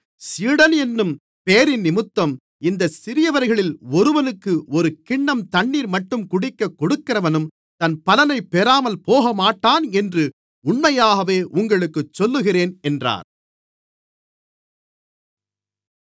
சீடன் என்னும் பெயரினிமித்தம் இந்தச் சிறியவர்களில் ஒருவனுக்கு ஒரு கிண்ணம் தண்ணீர்மட்டும் குடிக்கக் கொடுக்கிறவனும் தன் பலனைப் பெறாமல் போகமாட்டான் என்று உண்மையாகவே உங்களுக்குச் சொல்லுகிறேன் என்றார்